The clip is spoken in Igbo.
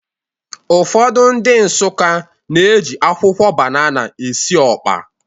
Ụfọdụ ndị Nsụka na-eji akwụkwọ banana esi ọkpa